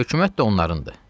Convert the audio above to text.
Hökumət də onlarınkıdır.